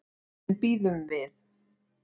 En bíðum við.